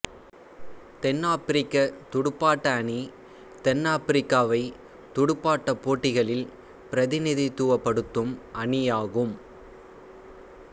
தென்னாபிரிக்கத் துடுப்பாட்ட அணி தென்னாபிரிக்காவைத் துடுப்பாட்டப் போட்டிகளில் பிரதிநிதித்துவப்படுத்தும் அணியாகும்